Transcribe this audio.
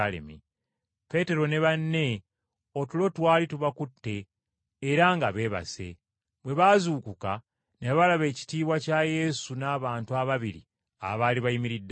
Peetero ne banne otulo twali tubakutte era nga beebase, Bwe baazuukuka ne balaba ekitiibwa kya Yesu n’abantu ababiri abaali bayimiridde naye.